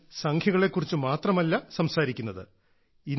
ഞാൻ സംഖ്യകളെക്കുറിച്ച് മാത്രമല്ല സംസാരിക്കുന്നത്